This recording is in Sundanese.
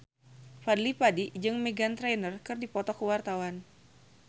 Fadly Padi jeung Meghan Trainor keur dipoto ku wartawan